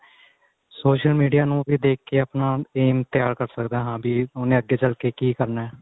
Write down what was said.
social media ਨੂੰ ਵੀ ਦੇਖ ਕੇ ਆਪਣਾ aim ਤਿਆਰ ਕਰ ਸਕਦਾ ਹਾਂ ਬੀ ਉਹਨੇ ਅੱਗੇ ਚੱਲ ਕੇ ਕੀ ਕਰਨਾ